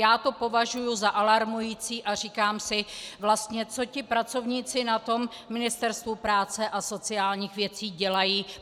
Já to považuji za alarmující a říkám si vlastně, co ti pracovníci na tom Ministerstvu práce a sociálních věcí dělají.